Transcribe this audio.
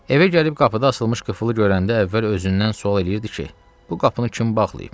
Evə gəlib qapıda açılmış qıfılı görəndə əvvəl özündən sual eləyirdi ki, bu qapını kim bağlayıb?